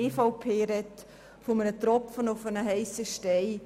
Die EVP spricht von einem Tropfen auf einen heissen Stein.